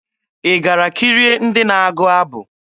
Ị gara kirie ndị na-agụ abụ?